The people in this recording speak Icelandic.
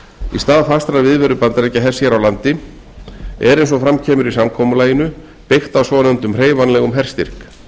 í stað fastrar viðveru bandaríkjahers hér á landi er eins og kemur fram í samkomulaginu byggt á svonefndum hreyfanlegum herstyrk